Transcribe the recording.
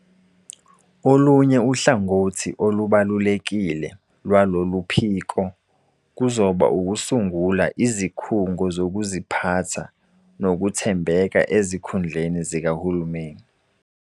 Olunye uhlangothi olubalulekile lwaloluphiko kuzoba ukusungula izikhungo zokuziphatha nokuthembeka ezikhundleni zikahulumeni.